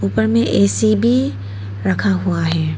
ऊपर में ए_सी भी रखा हुआ है।